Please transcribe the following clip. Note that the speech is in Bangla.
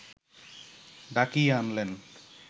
ডাকিয়ে আনলেন